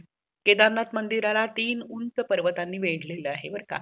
केदारनाथ मंदिरला तीन उच्च पर्वतांनी वेढलेलं आहे बर का